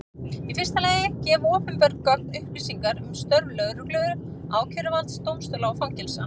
Í fyrsta lagi gefa opinber gögn upplýsingar um störf lögreglu, ákæruvalds, dómstóla og fangelsa.